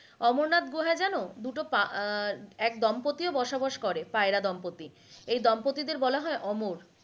অমরনাথ গুহা জান দুটো পা~ আহ এক দম্পত্তি ও বসবাস করে পায়রা দম্পত্তি এই দম্পত্তিদের বলায় অমর